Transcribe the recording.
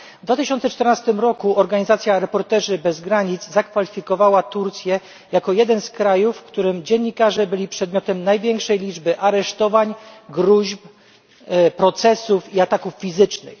W 2014 roku organizacja Reporterzy bez Granic zakwalifikowała Turcję jako jeden z krajów, w którym dziennikarze byli przedmiotem największej liczby aresztowań, gróźb, procesów i ataków fizycznych.